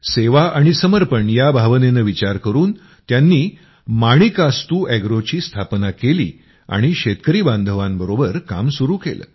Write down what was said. सेवा आणि समर्पण या भावनेनं विचार करून त्यांनी माणिकास्तू अॅग्रोची स्थापना केली आणि शेतकरी बांधवांबरोबर काम सुरू केलं